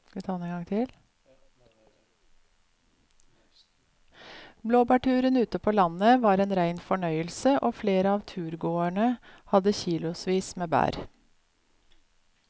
Blåbærturen ute på landet var en rein fornøyelse og flere av turgåerene hadde kilosvis med bær.